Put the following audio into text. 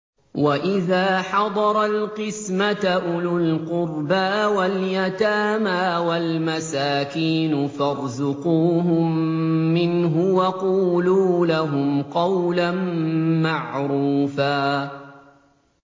وَإِذَا حَضَرَ الْقِسْمَةَ أُولُو الْقُرْبَىٰ وَالْيَتَامَىٰ وَالْمَسَاكِينُ فَارْزُقُوهُم مِّنْهُ وَقُولُوا لَهُمْ قَوْلًا مَّعْرُوفًا